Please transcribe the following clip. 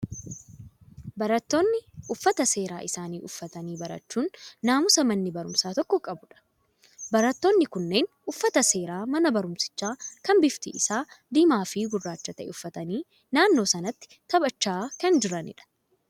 Barattooni uffata seeraa isaanii uffatanii barachuun naamusa manni barumsaa tokko qabudha. barattoonni kunneen uffata seeraa mana barumsichaa kan bifti isaa diimaa fi gurraacha ta'e uffatanii naannoo sanatti taphachaa kan jiranidha.